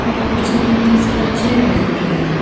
और पीछे में बहुत सारा चेयर भी रखें है।